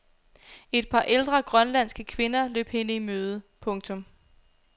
Et par ældre grønlandske kvinder løb hende i møde. punktum